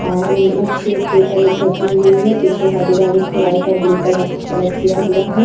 और म मच्छी एक के ऊपर एक गझी हुई है। पीछे का दिवाल उसके वाइट और ब्लू कलर का कलर किया हुआ है।